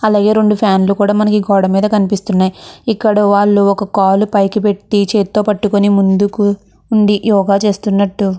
అలాగే రెండు ఫ్యాన్లు కూడా మనకి ఈ గోడ మీద కనిపిస్తూ ఉన్నాయి ఇక్కడ వాళ్ళు ఒక కాలు పైకి పెటి చేత్తో పట్టుకొని ముందుకు ఉండి యోగా చేస్తూన్నట్టు.